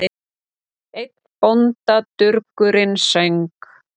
Einn bóndadurgurinn söng